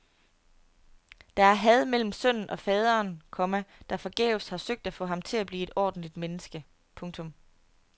Der er had mellem sønnen og faderen, komma der forgæves har søgt at få ham til at blive et ordentligt menneske. punktum